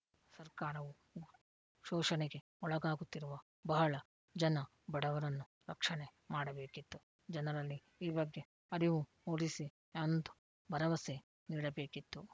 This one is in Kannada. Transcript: ಸರ್ಕಾರವು ಶೋಷಣೆಗೆ ಒಳಗಾಗುತ್ತಿರುವ ಬಹಳ ಜನ ಬಡವರನ್ನು ರಕ್ಷಣೆ ಮಾಡಬೇಕಿತ್ತು ಜನರಲ್ಲಿ ಈ ಬಗ್ಗೆ ಅರಿವು ಮೂಡಿಸಿ ಒಂದು ಭರವಸೆ ನೀಡಬೇಕಿತ್ತು